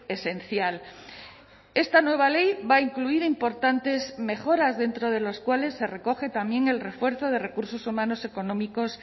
esencial esta nueva ley va a incluir importantes mejoras dentro de los cuales se recoge también el refuerzo de recursos humanos económicos